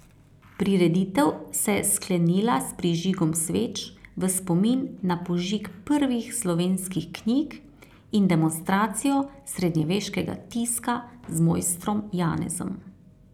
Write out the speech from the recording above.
Prireditev se je sklenila s prižigom sveč v spomin na požig prvih slovenskih knjig in demonstracijo srednjeveškega tiska z mojstrom Janezom.